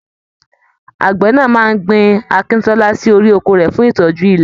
Àgbẹ náà máa gbìn akíntọ́lá sí orí oko rẹ̀ fún ìtọ́jú ilẹ̀.